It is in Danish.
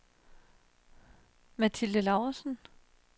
Mathilde Lauritsen